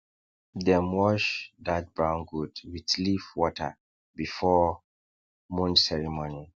dem wash that brown goat with leaf water before moon ceremony